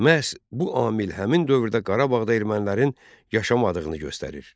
Məhz bu amil həmin dövrdə Qarabağda ermənilərin yaşamadığını göstərir.